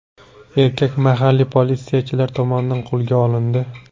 Erkak mahalliy politsiyachilar tomonidan qo‘lga olindi.